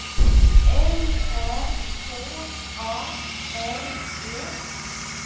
L Ä K A R E